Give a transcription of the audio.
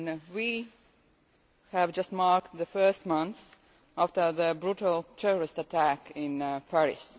We have just marked the first month after the brutal terrorist attacks in Paris.